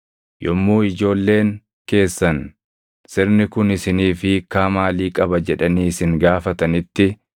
Yommuu ijoolleen keessan, ‘Sirni kun isiniif hiikkaa maalii qaba?’ jedhanii isin gaafatanitti,